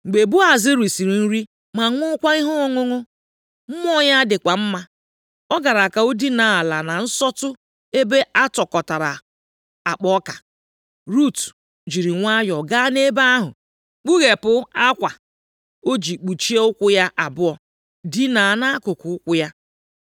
Mgbe Boaz risiri nri ma ṅụọkwa ihe ọṅụṅụ, mmụọ ya dịkwa mma, ọ gara ka ọ dinaa ala na nsọtụ ebe atụkọtara akpa ọka. Rut jiri nwayọọ gaa nʼebe ahụ, kpughepụ akwa o ji kpuchie ụkwụ ya abụọ, dina nʼakụkụ ụkwụ ya.